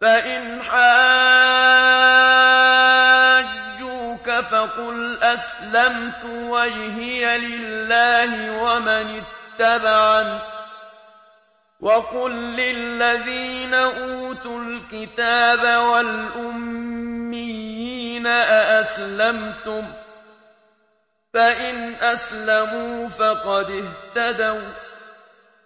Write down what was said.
فَإِنْ حَاجُّوكَ فَقُلْ أَسْلَمْتُ وَجْهِيَ لِلَّهِ وَمَنِ اتَّبَعَنِ ۗ وَقُل لِّلَّذِينَ أُوتُوا الْكِتَابَ وَالْأُمِّيِّينَ أَأَسْلَمْتُمْ ۚ فَإِنْ أَسْلَمُوا فَقَدِ اهْتَدَوا ۖ